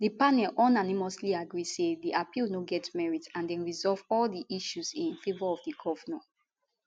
di panel unanimously agree say di appeal no get merit and dem resolve all di issues in favour of di govnor